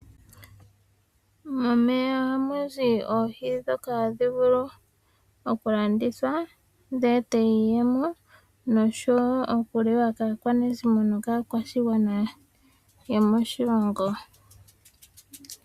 Momeya ohamu zi oohi ndhoka hadhi vulu okulandithwa dhi ete iiyemo, nosho wo okuliwa kaakwanezimo nokaakwashigwana yomoshilongo.